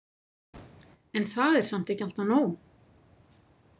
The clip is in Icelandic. En það er samt ekki alltaf nóg.